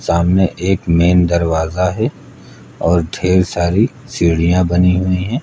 सामने एक मेन दरवाजा है और ढेर सारी सीढ़ियां बनी हुई हैं।